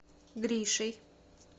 гришей